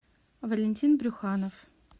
валентин брюханов